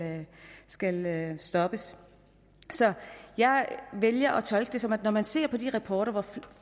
skal stoppes jeg vælger at tolke det sådan når man ser på de rapporter